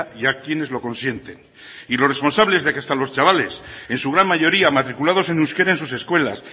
y a quienes lo consienten y los responsables de que hasta los chavales en su gran mayoría matriculados en euskera en sus escuelas